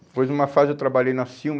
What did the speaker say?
Depois, numa fase, eu trabalhei na Silma.